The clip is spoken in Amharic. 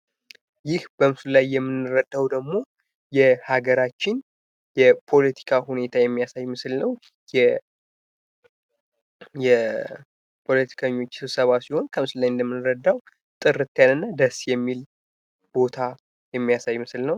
ይህ በምስሉ ላይ የምንረዳው ደግሞ የሀገራችን የፖለቲካ ሁኔታ የሚያሳይ ምስል ነው። የፖለቲከኞች ስብሰባ ሲሆን ከምስሉ ላይ እንደምናየው ጥርት ያለ እና ደስ የሚል ቦታ የሚያሳይ ምስል ነው።